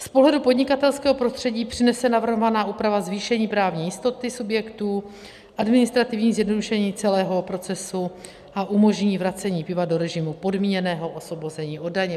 Z pohledu podnikatelského prostředí přinese navrhovaná úprava zvýšení právní jistoty subjektů, administrativní zjednodušení celého procesu a umožní vracení piva do režimu podmíněného osvobození od daně.